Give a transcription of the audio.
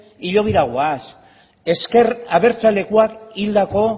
hilobira goaz ezker abertzalekoak hildako